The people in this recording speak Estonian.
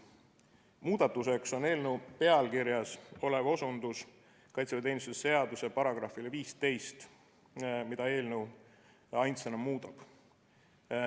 Muudatuseks on eelnõu pealkirjas olev osutus kaitseväeteenistuse seaduse §‑le 15, mida eelnõu ainsana muudab.